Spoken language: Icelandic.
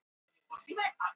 Súrínam